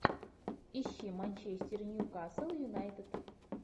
ищи манчестер ньюкасл юнайтед